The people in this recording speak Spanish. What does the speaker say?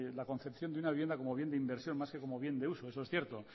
la concepción de una vivienda como un bien de inversión más que como bien de uso eso es cierto